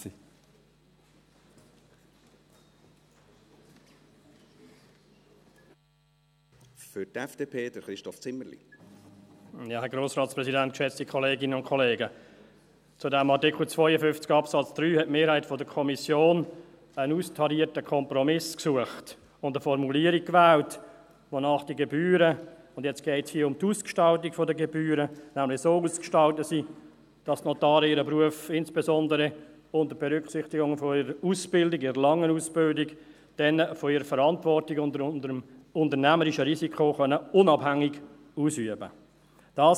Zu Artikel 52 Absatz 3 hat die Mehrheit der Kommission einen austarierten Kompromiss gesucht und eine Formulierung gewählt, wonach die Gebühren, und jetzt geht es hier um die Ausgestaltung der Gebühren, nämlich so ausgestaltet sind, dass die Notare ihren Beruf insbesondere unter Berücksichtigung ihrer Ausbildung, ihrer langen Ausbildung, dann von ihrer Verantwortung und dem unternehmerischen Risiko unabhängig ausüben können.